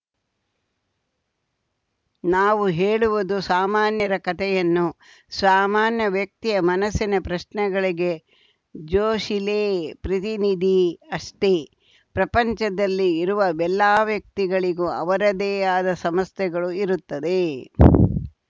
ನಾವು ಹೇಳುವುದು ಸಾಮಾನ್ಯರ ಕತೆಯನ್ನು ಸಾಮಾನ್ಯ ವ್ಯಕ್ತಿಯ ಮನಸ್ಸಿನ ಪ್ರಶ್ನೆಗಳಿಗೆ ಜೋಶಿಲೇ ಪ್ರತಿನಿಧಿ ಅಷ್ಟೆ ಪ್ರಪಂಚದಲ್ಲಿ ಇರುವ ಎಲ್ಲಾ ವ್ಯಕ್ತಿಗಳಿಗೂ ಅವರದ್ದೇ ಆದ ಸಮಸ್ಯೆಗಳು ಇರುತ್ತದೆ